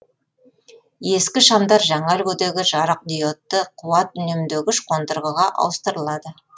ескі шамдар жаңа үлгідегі жарықдиодты қуат үнемдегіш қондырғыға ауыстырылады